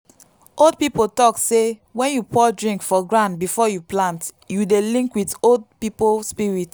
old people talk say when you pour drink for ground before you plant you dey link with old people spirit.